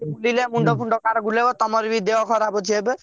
ଦିନିକିଆ ମୁଣ୍ଡ ଫୁଣ୍ଡ କାହାର ବୁଲେଇବ ତମର ବି ଦେହ ଖରାପ ଅଛି ଏବେ।